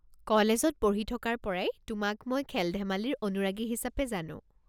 কলেজত পঢ়ি থকাৰ পৰাই তোমাক মই খেল-ধেমালিৰ অনুৰাগী হিচাপে জানো।